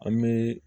An bɛ